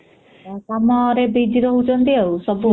ହୁଁ ...କାମରେ busy ରହୁଛନ୍ତି ଆଉ ସବୁ ଆଉ